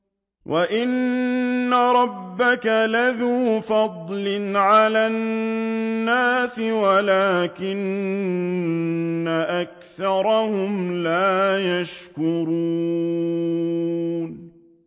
وَإِنَّ رَبَّكَ لَذُو فَضْلٍ عَلَى النَّاسِ وَلَٰكِنَّ أَكْثَرَهُمْ لَا يَشْكُرُونَ